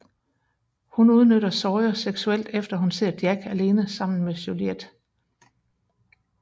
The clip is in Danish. Hun udnytter Sawyer seksuelt efter hun ser Jack alene sammen med Juliet